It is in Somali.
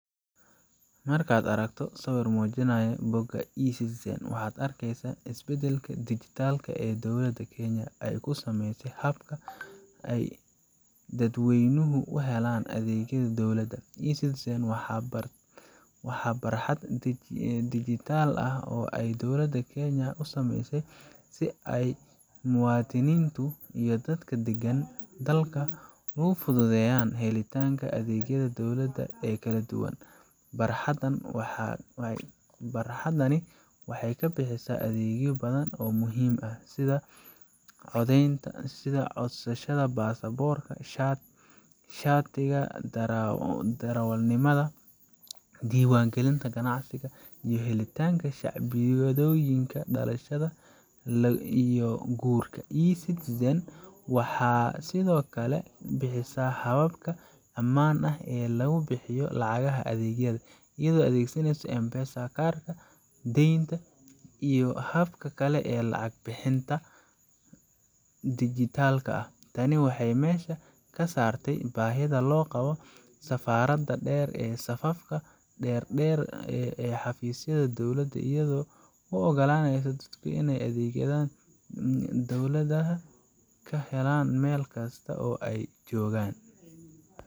Markaad aragto sawir muujinaya bogga eCitizen, waxaad arkaysaa isbeddelka dhijitaalka ah ee dowladda Kenya ay ku sameysay habka ay dadweynuhu u helaan adeegyada dowladda. eCitizen waa barxad dhijitaal ah oo ay dowladda Kenya u sameysay si ay muwaadiniintu iyo dadka deggan dalka ugu fududeyso helitaanka adeegyada dowladda ee kala duwan. Barxaddani waxay bixisaa adeegyo badan oo muhiim ah, sida codsashada baasaboorka, shatiga darawalnimada, diiwaangelinta ganacsiga, iyo helitaanka shahaadooyinka dhalashada iyo guurka. eCitizen waxay sidoo kale bixisaa habab ammaan ah oo lagu bixiyo lacagaha adeegyada, iyadoo la adeegsanayo M-Pesa, kaararka deynta, iyo hababka kale ee lacag bixinta dhijitaalka ah. Tani waxay meesha ka saartaa baahida loo qabo safarada dheer iyo safafka dhaadheer ee xafiisyada dowladda, iyadoo u oggolaanaysa dadka inay adeegyada dowladda ka helaan meel kasta oo ay joogaan.